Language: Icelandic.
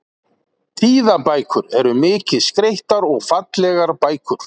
Tíðabækur eru mikið skreyttar og fallegar bækur.